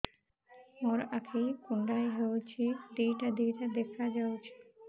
ମୋର ଆଖି କୁଣ୍ଡାଇ ହଉଛି ଦିଇଟା ଦିଇଟା ଦେଖା ଯାଉଛି